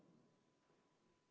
Palun võtta seisukoht ja hääletada!